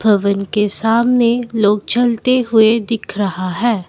भवन के सामने लोग चलते हुए दिख रहा है।